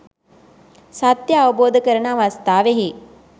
සත්‍ය අවබෝධ කරන අවස්ථාවෙහි